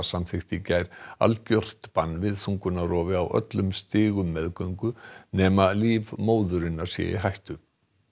samþykkti í gær algjört bann við þungunarrofi á öllum stigum meðgöngu nema líf móðurinnar sé í hættu